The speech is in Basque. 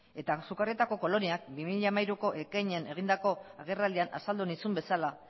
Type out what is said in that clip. eta sukarrieta koloniak bi mila hamairuko ekainean egindako agerraldian azaldu nizun bezala